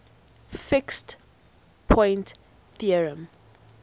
fixed point theorem